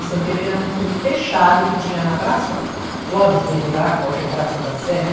O Santa Helena era um clube fechado que tinha na praça Clóvis Bevilá, que hoje é Praça da Sé, né?